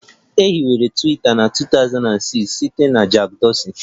E hiwere Twiita na 2006 site na Jack Dorsey